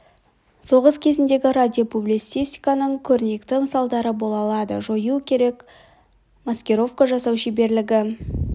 соғыс кезіндегі радиопублицистиканың көрнекті мысалдары бола алады жою керек маскировка жасау шеберлігі